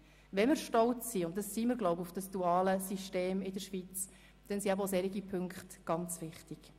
Wenn wir stolz sind auf unser duales Bildungssystem in der Schweiz – und ich glaube, das sind wir –, dann sind dafür eben auch solche Erfolge ganz wichtig.